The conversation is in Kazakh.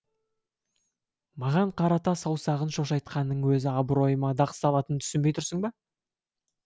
маған қарата саусағын шошайтқанының өзі абройыма дақ салатынын түсінбей тұрсың ба